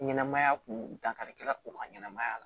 Ɲɛnɛmaya kun dankarikɛla o ka ɲɛnɛmaya la